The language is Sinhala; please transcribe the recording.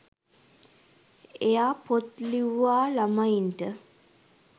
එයා පොත් ලිව්වා ළමයින්ට